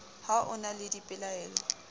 ha o na le dipoleo